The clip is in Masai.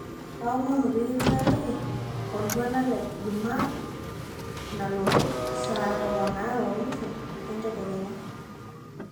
aomonu piikipikaki oltuala le jumaaa nalotu saa tomon aare oo nusu ee ntakenya